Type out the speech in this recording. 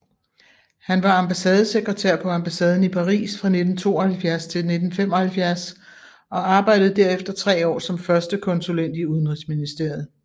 Han var ambassadesekretær på ambassaden i Paris fra 1972 til 1975 og arbejdede derefter tre år som førstekonsulent i Udenrigsministeriet